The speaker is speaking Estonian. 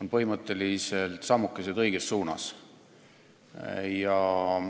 on põhimõtteliselt sammukesed õiges suunas.